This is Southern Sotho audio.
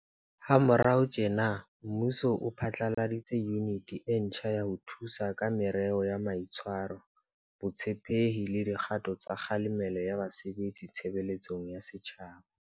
Ha morao tjena, mmuso o phatlaladitse Yuniti e ntjha ya ho Thusa ka Merero ya Mai tshwaro, Botshepehi le Di kgato tsa Kgalemelo ya Ba sebetsi Tshebeletsong ya Setjhaba.